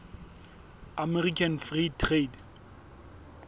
american free trade